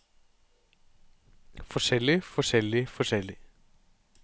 forskjellig forskjellig forskjellig